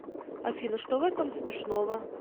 афина что в этом смешного